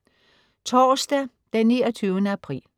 Torsdag den 29. april